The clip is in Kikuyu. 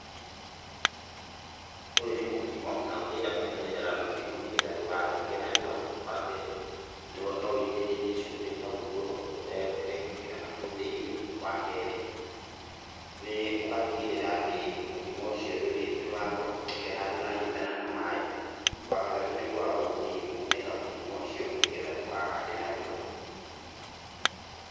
Ũyũ nĩ mũkimo na ũngĩenda kũmenyerera mũkimo nĩgetha ndũkathũke narua ,wambere nowĩitĩrĩrie cumbĩ hau igũrũ ũtegwĩkĩra nahau thĩinĩ, wakerĩ nĩ ũgatigĩrĩra atĩ mũkimo ũcio gũtirĩ handũ ũranyitana na ma, wagataũ nĩ kwaga gũkunĩka mũkimo ũcio nĩgetha ndũkagande narua.